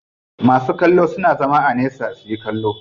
Masu kallo suna zama a nesa suyi kallo.